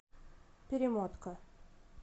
перемотка